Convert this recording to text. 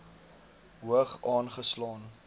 hoog aange slaan